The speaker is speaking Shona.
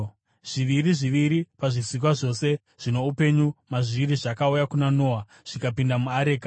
Zviviri zviviri pazvisikwa zvose zvino upenyu mazviri zvakauya kuna Noa zvikapinda muareka.